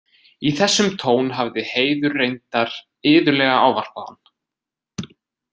Í þessum tón hafði Heiður reyndar iðulega ávarpað hann.